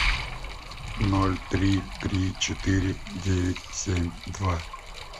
ноль три три четыре девять семь два